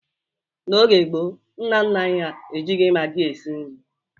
N'oge gboo, nna nna anyị ha ejighi magị si nri.